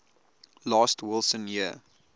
last wilson year